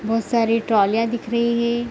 बोहोत सारे ट्रॉलियां दिख रही है।